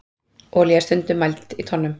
olía er líka stundum mæld í tonnum